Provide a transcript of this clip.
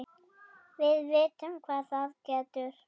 Við vitum hvað það getur!